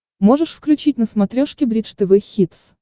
можешь включить на смотрешке бридж тв хитс